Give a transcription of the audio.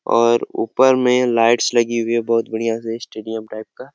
और ऊपर में लाइट्स लगी हुई है बहुत बढ़िया से स्टूडियो टाइप का--